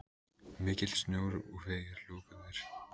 Mikill snjór og vegir lokaðir.